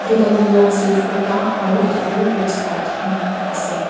ekta tu Long sleeve kurta aru ekta tu waistcoat ena ase.